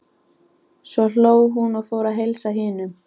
Svo hló hún og fór að heilsa hinum.